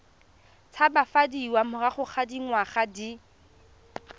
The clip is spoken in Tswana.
tshabafadiwa morago ga dingwaga di